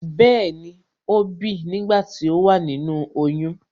Bẹẹni,ó bìi nígbà tí ó wà nínú oyún